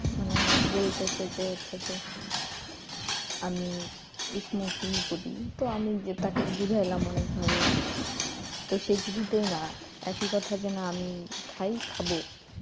মানে বলতেছে যে হচ্ছে যে আমি smoking করি তো আমি যে তাকে বুঝাইলাম অনেকভাবে তো সে কিছুতেই না একই কথা যে না আমি খাই খাবো